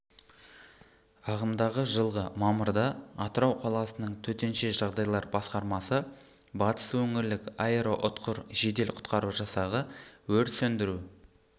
ағымдағы жылғы мамырда атырау қаласының төтенше жағдайлар басқармасы батыс өңірлік аэроұтқыр жедел құтқару жасағы өрт сөндіру